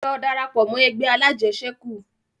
Lọ darapọ̀ mọ́ ẹgbẹ́ alajẹsẹ́kù!